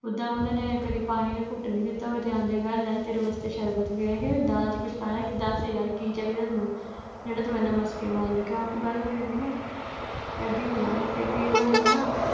ਓਦਾਂ ਉਹਨਾਂ ਨੇ ਕਦੀ ਪਾਣੀ ਦਾ ਘੁੱਟ ਨਹੀਂ ਦਿੱਤਾ ਹੋਵੇ ਤੇ ਆਂਦਿਆ ਕਹਿਣ ਲੱਗ ਪਵੇ ਕਿ ਤੇਰੇ ਵਾਸਤੇ ਸ਼ਰਬਤ ਵੀ ਹੈਗਾ ਏ ਦਾਲ ਚ ਕੁੱਝ ਕਾਲਾ ਏ ਦੱਸ ਯਰ ਕੀ ਚਾਹੀਦੈ ਤੈਨੂੰ ਜਿਹੜਾ ਤੂੰ ਏਨੇ ਮਸਕੇ ਮਾਰਨ ਲੱਗਾ ਉਹ ਗੱਲ ਹੋ ਜਾਂਦੀ ਨਾ ਐਦਾਂ ਹੀ ਹੁੰਦਾ ਵਾ ਫਿਰ ਕੀ ਵਾਰ ਹੁੰਦਾ ਨਾ